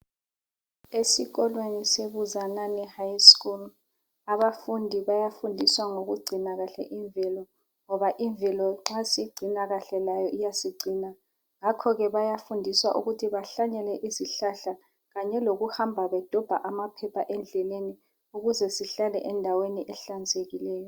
Esikolweni se Buzanani high school abafundi bayafundiswa ngokugcina kahle imvelo ngoba imvelo nxa siyigcina kahle layo iyasigcina ngakho ke bayafundiswa ukuthi bahlanyele izihlahla kanye lokuhamba bedobha amaphepha endleleni ukuze sihlale endaweni ehlanzekileyo.